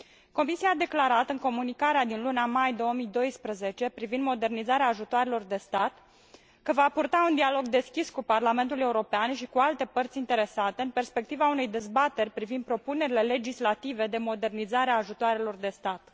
Comisia a declarat, în Comunicarea din luna mai 2012 privind modernizarea ajutoarelor de stat, că va purta un dialog deschis cu Parlamentul European și cu alte părți interesate, în perspectiva unei dezbateri privind propunerile legislative de modernizare a ajutoarelor de stat.